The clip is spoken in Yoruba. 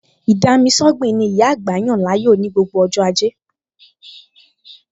Ì-dami-sọ́gbìn ni ìyá àgbà yàn láàyò ní gbogbo ọj́ ajẹ́